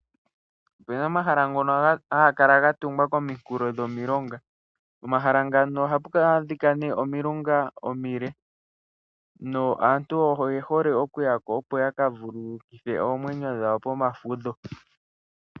Opuna omahala ngno haga kala ga tungwa kominkulo dhomilonga, pomahala ngano ohapu adhika nee omilunga omile naantu oye hole okuya ko, opo ya ka vululukithe oomwenyo dhawo pomafudho.